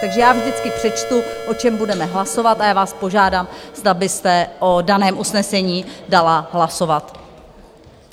Takže já vždycky přečtu, o čem budeme hlasovat, a já vás požádám, zda byste o daném usnesení dala hlasovat.